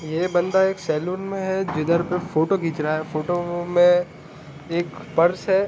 ये बंदा एक सैलून में है जिधर फोटो खींच रहा है फोटो में एक पर्स हैं।